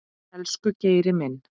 Elsku Geiri.